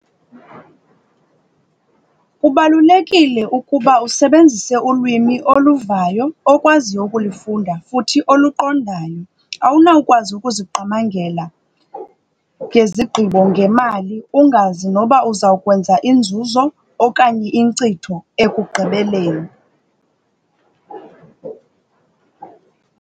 Kubalulekile ukuba usebenzise ulwimi oluvayo okwaziyo ukulufunda futhi oluqondayo. Awunawukwazi ukuziqamangela ngezigqibo, ngemali ungazi noba uzawukwenza inzuzo okanye inkcitho ekugqibeleni.